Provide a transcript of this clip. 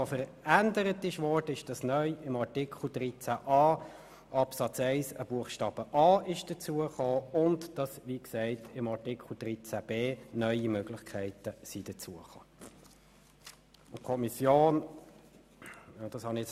Verändert wurde, dass neu in Artikel 13a Absatz 1 ein Buchstabe a hinzugekommen ist und dass in Artikel 13b neue Möglichkeiten hinzugefügt wurden.